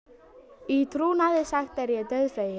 Í trúnaði sagt er ég dauðfeginn.